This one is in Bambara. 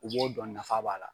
U b'o dɔn nafa b'a la.